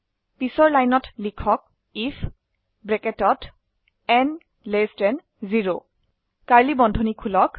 পিছৰ লাইনত লিখক আইএফ ন 0 কোঁকড়া বন্ধনী খুলক